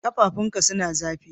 Kafafun ka suna zafi?